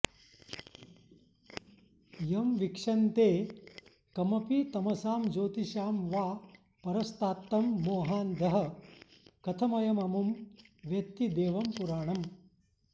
यं वीक्षन्ते कमपि तमसां ज्योतिषां वा परस्तात्तं मोहान्धः कथमयममुं वेत्ति देवं पुराणम्